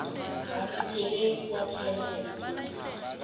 asipheleli kwaphela erekhodini